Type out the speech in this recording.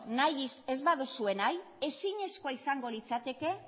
nahi ez baduzue ezinezkoa izango litzateke